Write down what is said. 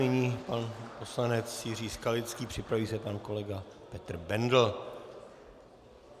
Nyní pan poslanec Jiří Skalický, připraví se pan kolega Petr Bendl.